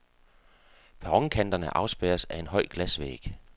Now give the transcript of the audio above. Perronkanterne afspærres af en høj glasvæg.